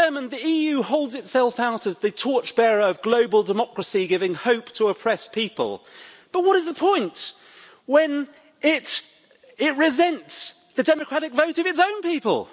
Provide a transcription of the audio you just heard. The EU holds itself out as the torch bearer of global democracy, giving hope to oppressed people, but what is the point when it resents the democratic vote of its own people?